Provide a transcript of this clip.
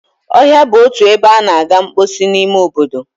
Ọhịa bụ otu ebe a na-aga mposi n'ime obodo.